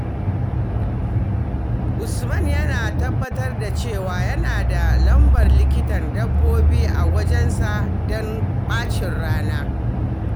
Usman yana tabbatar da cewa yana da lambar likitan dabbobi a wayarsa don ɓacin rana.